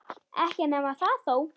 Ekki nema það þó!